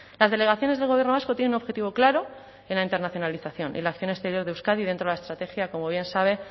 las delegaciones del gobierno vasco tienen un objetivo claro en la internacionalización y en la acción exterior de euskadi dentro de la estrategia como bien sabe